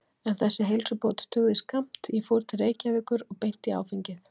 En þessi heilsubót dugði skammt, ég fór til Reykjavíkur og beint í áfengið.